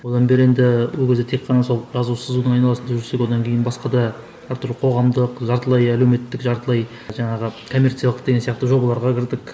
одан бері енді ол кезде тек қана сол жазу сызудың айналасында жүрсек одан кейін басқа да әртүрлі қоғамдық жартылай әлеуметтік жартылай жаңағы коммерциялық деген сияқты жобаларға кірдік